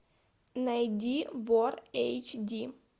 найди вор эйч ди